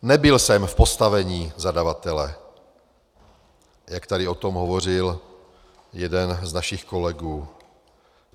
Nebyl jsem v postavení zadavatele, jak tady o tom hovořil jeden z našich kolegů.